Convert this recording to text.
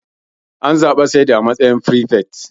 An zabi Sa'idu a matsayin firifet.